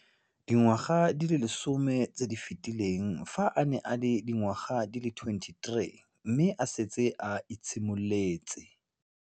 Dingwaga di le 10 tse di fetileng, fa a ne a le dingwaga di le 23 mme a setse a itshimoletse